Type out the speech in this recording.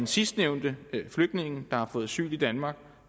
sidstnævnte flygtningen der har fået asyl i danmark